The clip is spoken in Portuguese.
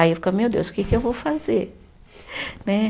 Aí eu, meu Deus, o que que eu vou fazer? Né